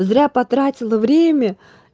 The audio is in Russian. зря потратила время